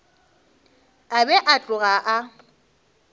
a be a tloga a